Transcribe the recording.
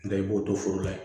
N tɛ i b'o don foro la